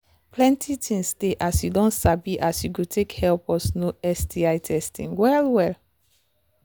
plenty things they as you don sabi as you go take help us know sti testing well well